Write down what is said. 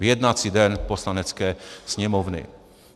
V jednací den Poslanecké sněmovny.